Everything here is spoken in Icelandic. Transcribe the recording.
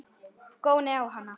Góni á hana.